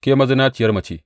Ke mazinaciyar mace!